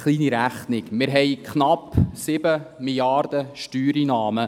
– Eine kleine Rechnung: Wir haben knapp 7 Mrd. Franken Steuereinnahmen.